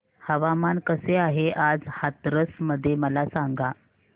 हवामान कसे आहे आज हाथरस मध्ये मला सांगा